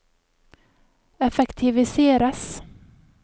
effektiviseres